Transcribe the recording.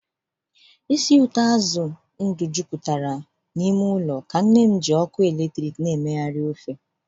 ísì ụtọ azụ ndụ jupụtara n'ime ụlọ ka nne m ji ọkụ eletrik na-emegharị ofe.